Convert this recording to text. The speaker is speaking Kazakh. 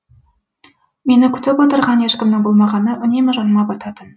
мені күтіп отырған ешкімнің болмағаны үнемі жаныма бататын